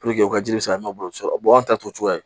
u ka ji be se ka nɔbɔ anw ta t'o cogoya ye